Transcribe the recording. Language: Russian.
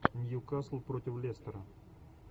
ньюкасл против лестера